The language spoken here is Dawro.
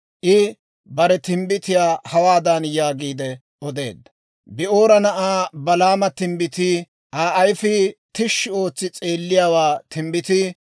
I bare timbbitiyaa hawaadan yaagiide odeedda; «Bi'oora na'aa Balaama timbbitii, Aa ayfii tishshi ootsi s'eelliyaawaa timbbitii,